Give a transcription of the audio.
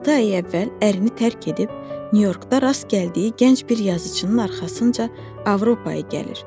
Altı ay əvvəl ərini tərk edib Nyu-Yorkda rast gəldiyi gənc bir yazıçının arxasınca Avropaya gəlir.